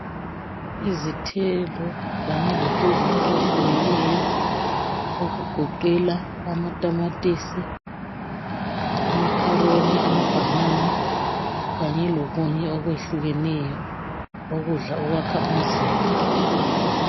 Izithelo kanye lokudla okutshiyeneyo okugoqela izithelo amatamatisi amakharoni amabanana kanye lokunye okwehlukeneyo ukudla okwakha umzimba